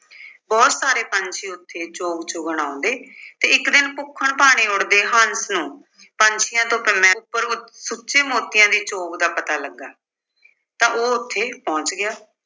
ਬਹੁਤ ਸਾਰੇ ਪੰਛੀ ਉੱਥੇ ਚੋਗ ਚੁੱਗਣ ਆਉਂਦੇ ਤੇ ਇੱਕ ਦਿਨ ਭੁੱਖਣ-ਭਾਣੇ ਉੱਡਦੇ ਹੰਸ ਨੂੰ ਪੰਛੀਆਂ ਤੋਂ ਉੱਪਰ ਉੱ ਅਹ ਸੁੱਚੇ ਮੋਤੀਆਂ ਦੀ ਚੋਗ ਦਾ ਪਤਾ ਲੱਗਾ ਤਾਂ ਉਹ ਉੱਥੇ ਪਹੁੰਚ ਗਿਆ।